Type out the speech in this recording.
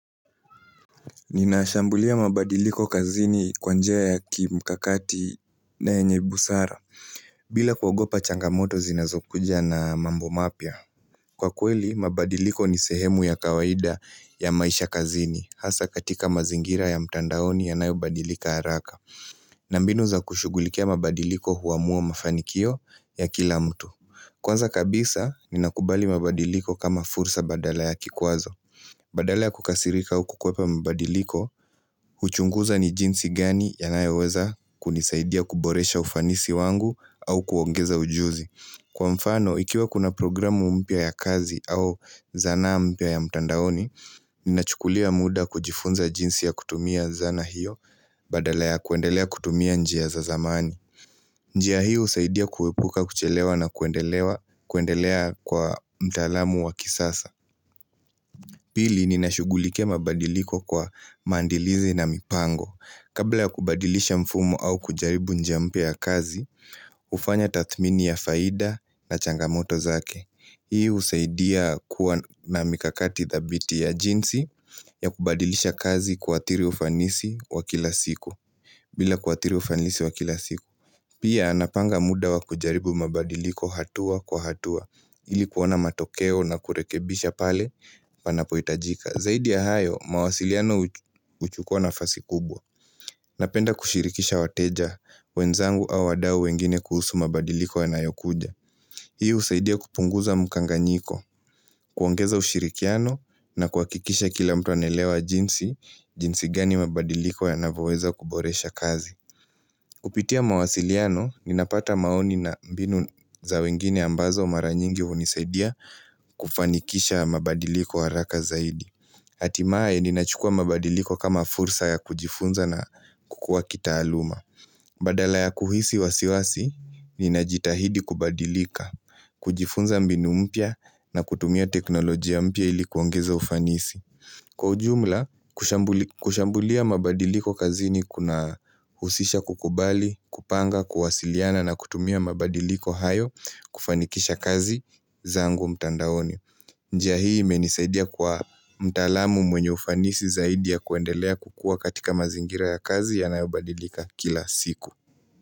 Ninashambulia mabadiliko kazini kwa njia ya kimkakati na yenye busara bila kuogopa changamoto zinazokuja na mambo mapya Kwa kweli, mabadiliko ni sehemu ya kawaida ya maisha kazini Hasa katika mazingira ya mtandaoni yanayo badilika haraka na mbinu za kushugulikia mabadiliko huamuo mafanikio ya kila mtu Kwanza kabisa, ninakubali mabadiliko kama fursa badala ya kikwazo Badala ya kukasirika au kukwepa mabadiliko, huchunguza ni jinsi gani yanayoweza kunisaidia kuboresha ufanisi wangu au kuongeza ujuzi. Kwa mfano, ikiwa kuna programu mpya ya kazi au zanaa mpya ya mtandaoni, ninachukulia muda kujifunza jinsi ya kutumia zana hiyo badala ya kuendelea kutumia njia za zamani. Njia hiyo husaidia kuepuka kuchelewa na kuendelea kwa mtalamu wa kisasa. Pili ninashugulikia mabadiliko kwa mandilize na mipango. Kabla ya kubadilisha mfumo au kujaribu njia mpya ya kazi, hufanya tathmini ya faida na changamoto zake. Hii husaidia kuwa na mikakati thabiti ya jinsi ya kubadilisha kazi kuathiri ufanisi wa kila siku. Bila kuathiri ufanisi wa kila siku. Pia napanga muda wa kujaribu mabadiliko hatua kwa hatua ili kuona matokeo na kurekebisha pale panapohitajika. Zaidi ya hayo, mawasiliano huchukua nafasi kubwa. Napenda kushirikisha wateja, wenzangu au wadau wengine kuhusu mabadiliko yanayokuja. Hii husaidia kupunguza mkanganyiko, kuangeza ushirikiano na kuhakikisha kila mtu anaelewa jinsi, jinsi gani mabadiliko yanavyoweza kuboresha kazi. Kupitia mawasiliano, ninapata maoni na mbinu za wengine ambazo mara nyingi hunisaidia kufanikisha mabadiliko haraka zaidi. Hatimae, ninachukua mabadiliko kama fursa ya kujifunza na kukua kitaaluma. Badala ya kuhisi wasiwasi, ninajitahidi kubadilika, kujifunza mbinu mpya na kutumia teknolojia mpya ilikuongeza ufanisi. Kwa ujumla, kushambulia mabadiliko kazi ni kuna husisha kukubali, kupanga, kuwasiliana na kutumia mabadiliko hayo kufanikisha kazi zangu mtandaoni. Njia hii imenisaidia kuwa mtalamu mwenye ufanisi zaidi ya kuendelea kukua katika mazingira ya kazi yanayobadilika kila siku.